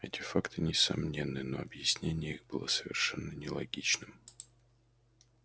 эти факты несомненны но объяснение их было совершенно нелогичным